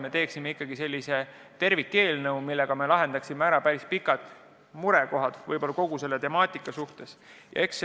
Me soovime ikkagi teha sellise tervikseaduse, millega me lahendaksime ära päris kaua püsinud murekohad kogu selles temaatikas.